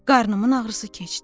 Qarnımın ağrısı keçdi.